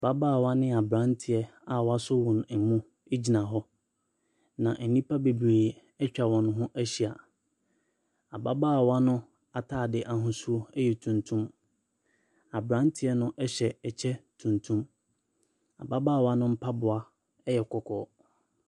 Mbabaawa ne abranteɛ a wɔn asɔ wɔn mu. Gyina hɔ. Na nnipa bebree atwa wɔn ho ahyia. Ababaawa no ataadeɛ no ahosuo yɛ tuntum. Abranteɛ hyɛ kyɛ tuntum. Ababaawa mpaboa yɛ kɔkɔɔ.